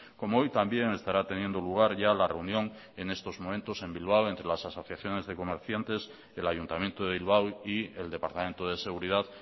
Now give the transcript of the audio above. como hoy también estará teniendo lugar ya la reunión en estos momentos en bilbao entre las asociaciones de comerciantes el ayuntamiento de bilbao y el departamento de seguridad